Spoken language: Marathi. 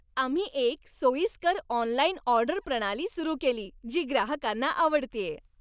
आम्ही एक सोयीस्कर ऑनलाइन ऑर्डर प्रणाली सुरू केली, जी ग्राहकांना आवडतेय.